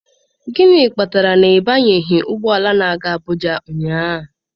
Gịnị kpatara na ị banyeghị ụgbọ ala na-aga Abụja ụnyaahụ?